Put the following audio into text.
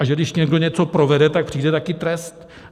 A že když někdo něco provede, tak přijde taky trest.